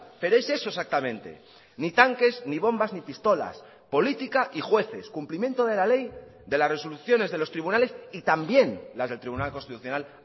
pero es eso exactamente ni tanques ni bombas ni pistolas política y jueces cumplimiento de la ley de las resoluciones de los tribunales y también las del tribunal constitucional